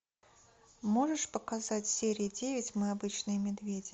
можешь показать серию девять мы обычные медведи